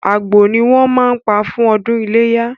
Àgbò ni wọ́n máa ń pa fún ọdún iléyá.